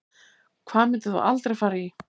Hvað myndir þú aldrei fara í